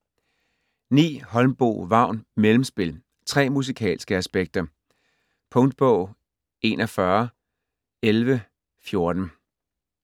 Holmboe, Vagn: Mellemspil: tre musikalske aspekter Punktbog 411114